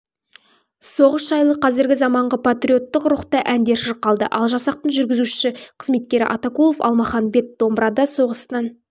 соғыс жайлы қазіргі заманғы патриоттық рухта әндер шырқалды ал жасақтың жүргізуші-қызметкері атакулов алмаханбет домбырада соғыстан